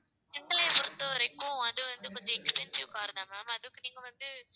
எங்களை பொறுத்தவரைக்கும் அது வந்து கொஞ்சம் expensive car தான் ma'am அதுக்கு நீங்க வந்து